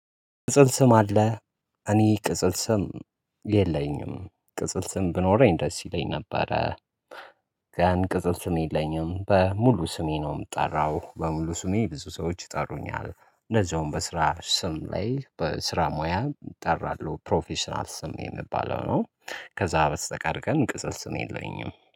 ቅጽል ስም አለህ? እኔ ቅጽል ስም የለኝም ቅጽል ስም ብኖረኝ ደስ ይለኝ ነበረ። ግን ቅጽብ ስም የለኝም በሙሉ ስሜ ነው። ምጠራሁ በሙሉ ስሜ ብዙ ሰዎች ይጠሩኛል እንደዛውም በስራ ስም ላይ በስራ ሙያ እጠራለሁ ፕሮፌሽናል ስም የሚባለው ነው። ከዛ በስተቀር ግን ቅጽል ስም የለኝም